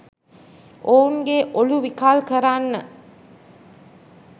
ඔවුන්ගේ ඔලු විකල් කරන්න